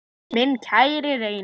Minn kæri Reynir.